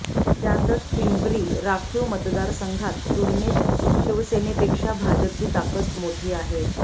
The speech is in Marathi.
त्यातच पिंपरी राखीव मतदारसंघात तुलनेत शिवसेनेपेक्षा भाजपची ताकद मोठी आहे